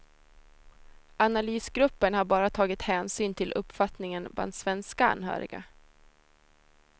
Analysgruppern har bara tagit hänsyn till uppfattningen bland svenska anhöriga.